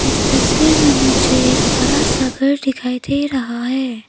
इस तस्वीर में मुझे एक बड़ा सा घर दिखाई दे रहा है।